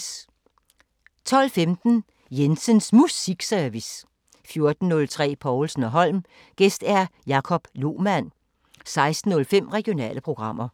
12:15: Jensens Musikservice 14:03: Povlsen & Holm: Gæst Jacob Lohman 16:05: Regionale programmer